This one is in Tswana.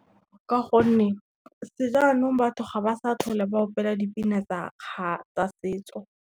Ka gonne, sejanong batho ga ba sa tlhola ba opela dipina tsa setso.